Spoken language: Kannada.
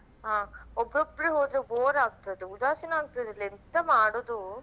ಹಾ ಒಬ್ಬಬ್ರೆ ಹೋದ್ರೆ ಬೋರ್ ಆಗ್ತದೆ ಉದಾಸಿನಾ ಆಗ್ತದೆ ಎಂತ ಮಾಡುದು.